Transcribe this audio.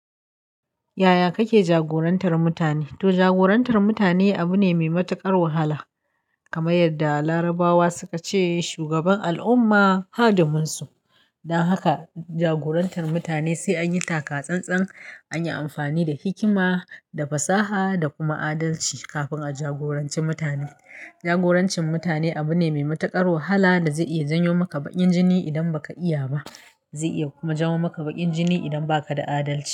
Yaya kake jagorantar mutane? To jagorantar mutane abu ne mai matuƙar wahala. Kamar yadda Larabawa suka ce, shugaban al'umma hadimin su. Don haka jagorantar mutane sai an yi taka-tsantsan, an yi amfani da hikima, da fasaha da kuma adalci kafin a jagoranci mutane. Jagorancin mutane abu ne mai matuƙar wahala da zai iya janyo maka bakin jini idan ba ka iya ba, zai iya kuma janyo maka bakin jini idan ba ka da adali.